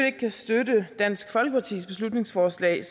ikke kan støtte dansk folkepartis beslutningsforslag